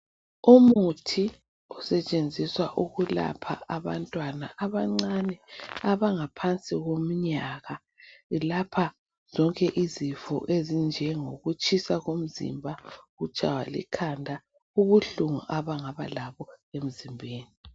Umuthi osetshenziswa ukulapha abantwana abancane abangaphansi komnyaka, ulapha zonke izifo ezinjengo kutshisa komzimba, ukutshaywa likhanda lobuhlungu abangaba labo emzimbeni.